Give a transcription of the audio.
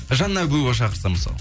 жанна әбуова шақырса мысалы